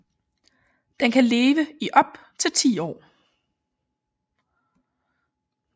Den kan leve i op til 10 år